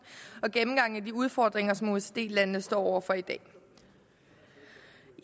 og gennemgangen af de udfordringer som osce landene står over for i dag